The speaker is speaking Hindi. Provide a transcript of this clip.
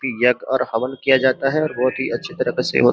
यज्ञ और हवन किया जाता है और बहुत ही अच्छी तरह से वो --